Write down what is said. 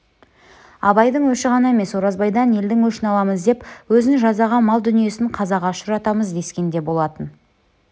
абайдың өші ғана емес оразбайдан елдің өшін аламыз өзін жазаға мал-дүниесін қазаға ұшыратамыз дескен де болатын